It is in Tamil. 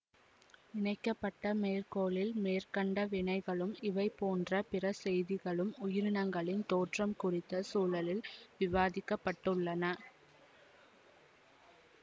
இணைக்க பட்ட மேற்கோளில் மேற்கண்ட வினைகளும் இவைபோன்ற பிறசெய்திகளும் உயிரினங்களின் தோற்றம் குறித்த சூழலில் விவாதிக்கப்பட்டுள்ளன